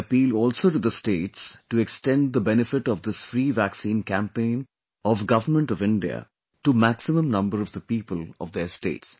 I appeal also to the states to extend the benefit of this free vaccine campaign of government of India to maximum number of the people of their state